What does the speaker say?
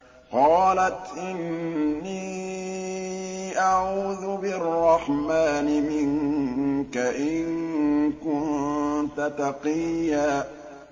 قَالَتْ إِنِّي أَعُوذُ بِالرَّحْمَٰنِ مِنكَ إِن كُنتَ تَقِيًّا